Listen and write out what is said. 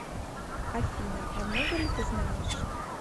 афина а много ли ты знаешь